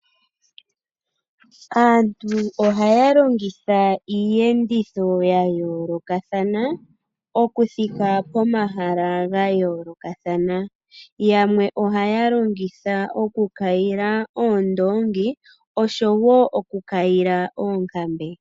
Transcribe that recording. Aantu ohaya longitha iiyenditho ya yoolokathana, oku thika pomahala ga yoolokathana. Yamwe ohaya longitha oku kayila oondongi oshowo oku kayila oonkambe.